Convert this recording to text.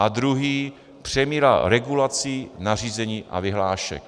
A druhá: přemíra regulací, nařízení a vyhlášek.